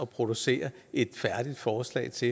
producere et færdigt forslag til